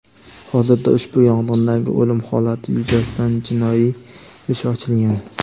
Hozirda ushbu yong‘indagi o‘lim holati yuzasidan jinoiy ish ochilgan.